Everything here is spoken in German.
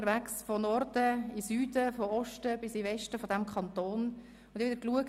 Ich war von Norden bis Süden und von Westen bis Osten in unserem Kanton unterwegs.